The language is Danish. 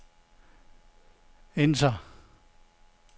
enter